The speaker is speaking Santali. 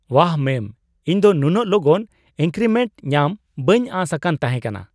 ᱵᱟᱦ, ᱢᱮᱢ ! ᱤᱧ ᱫᱚ ᱱᱩᱱᱟᱹᱜ ᱞᱚᱜᱚᱱ ᱤᱱᱠᱨᱤᱢᱮᱱᱴ ᱧᱟᱢ ᱵᱟᱹᱧ ᱟᱥ ᱟᱠᱟᱱ ᱛᱟᱦᱮᱸ ᱠᱟᱱᱟ !